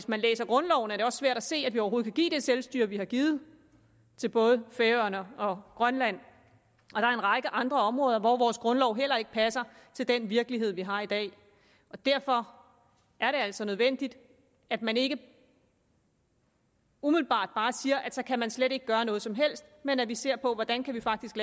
man læser grundloven er det også svært at se at vi overhovedet kan give det selvstyre vi har givet til både færøerne og grønland og række andre områder hvor vores grundlov heller ikke passer til den virkelighed vi har i dag derfor er det altså nødvendigt at man ikke umiddelbart bare siger at så kan man slet ikke gøre noget som helst men at vi ser på hvordan vi faktisk